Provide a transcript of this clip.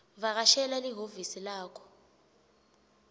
vakashela lihhovisi lakho